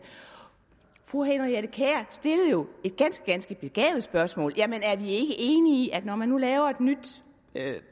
fru henriette kjær stillede jo et ganske ganske begavet spørgsmål jamen er vi ikke enige om at når man nu laver et nyt